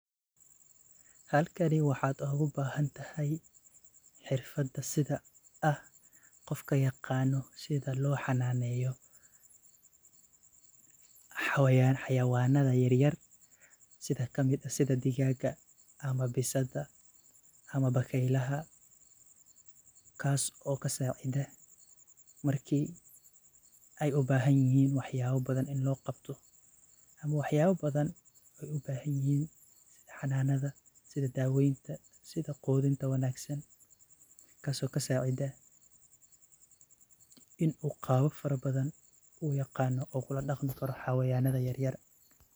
Halkani waxad oga bahantahay sidha qofka yiqano sidha lo xananneyo, xawayanaha yar yar sidha digaga , bisada, bakeylaha kas o kasacida wax yala badan oo ay u bahan yihin wax yala badan ini lo qabta oo qudinta wanagsan oo kasacida qabab fara badan u yaqano u kala daqmi karo hawayadana yaryar.